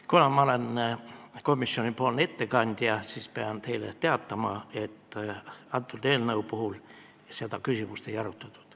Kuna ma olen komisjoni ettekandja, siis pean teile teatama, et selle eelnõu puhul seda küsimust ei arutatud.